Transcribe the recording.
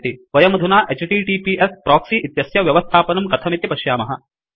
वयमधुना HTTPS proxy इत्यस्य व्यवस्थापनं कथमिति पश्यामः